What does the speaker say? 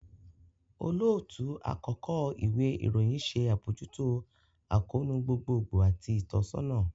Olootu-akọkọ iwe irohin ṣe abojuto akoonu gbogbogbo ati itọsọna